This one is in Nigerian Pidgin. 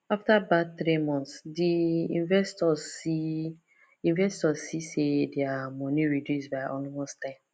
after bad three months d investors see investors see say dia money reduce by almost ten